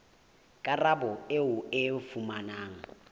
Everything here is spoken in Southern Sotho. karabo eo o e fumanang